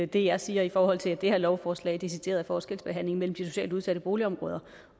det jeg siger i forhold til at det her lovforslag er decideret forskelsbehandling mellem de socialt udsatte boligområder